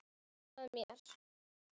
Brosa að mér!